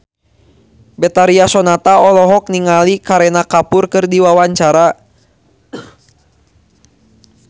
Betharia Sonata olohok ningali Kareena Kapoor keur diwawancara